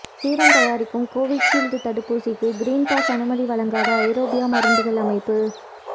serum தயாரிக்கும் Covishield தடுப்பூசிக்கு green pass அனுமதி வழங்காத ஐரோப்பிய மருந்துகள் அமைப்பு